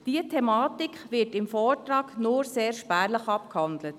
Diese Thematik wird im Vortrag nur sehr spärlich abgehandelt.